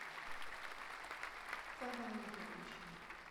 павел анатольевич